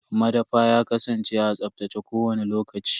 Madafa ya kasance a tsaftace kowani lokaci.